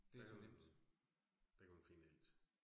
Der er jo, der kan man finde alt